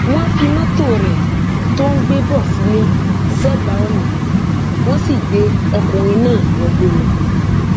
wọn fi mọtò rẹ tó ń gbé bọ sílẹ sẹbà ọnà wọn sì gbé ọkùnrin náà wọgbó lọ